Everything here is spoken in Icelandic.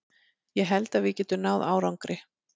Ég held að við getum náð árangri.